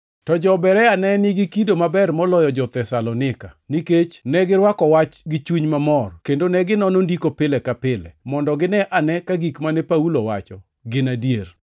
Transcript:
To jo-Berea ne nigi kido maber moloyo jo-Thesalonika, nikech negirwako wach gi chuny mamor, kendo neginono Ndiko pile ka pile, mondo gine ane ka gik mane Paulo wacho gin adier.